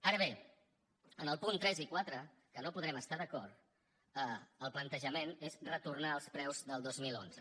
ara bé en els punts tres i quatre que no hi podrem estar d’acord el plantejament és retornar als preus del dos mil onze